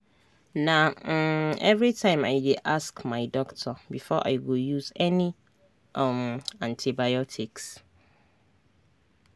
na um everytime i dey ask my doctor before i go use any um antibiotics